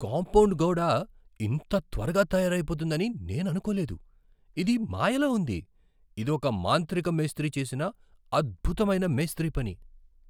Compound గోడ ఇంత త్వరగా తయారైపోతుందని నేను అనుకోలేదు. ఇది మాయలా ఉంది! ఇది ఒక మాంత్రిక మేస్త్రీ చేసిన అద్భుతమైన మేస్త్రీ పని.